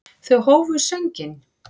Þau hófu sönginn.